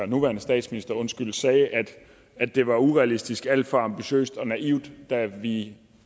nuværende statsminister sagde at det var urealistisk alt for ambitiøst og naivt da vi